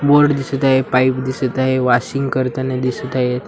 Board दिसत आहे pipe दिसत आहे वॉशिंग करताना दिसत आहेत.